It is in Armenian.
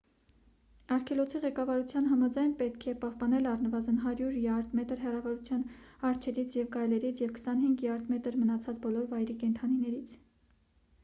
արգելոցի ղեկավարության համաձայն՝ պետք է պահպանել առնվազն 100 յարդ/մետր հեռավորության արջերից ու գայլերից և 25 յարդ/մետր՝ մնացած բոլոր վայրի կենդանիներից: